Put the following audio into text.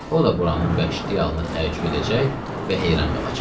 O da buranın vəhşiliyinə təəccüb edəcək və heyran qalacaq.